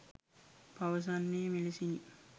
පවසන්නේ මෙලෙසිනි